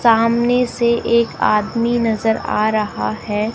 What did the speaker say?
सामने से एक आदमी नजर आ रहा है।